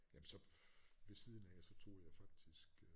Jamen så ved siden af så tog jeg faktisk øh